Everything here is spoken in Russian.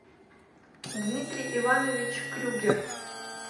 дмитрий иванович крюгер